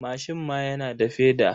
Mashin ma yana da feda.